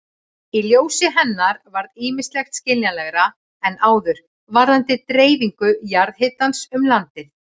Í ljósi hennar varð ýmislegt skiljanlegra en áður varðandi dreifingu jarðhitans um landið.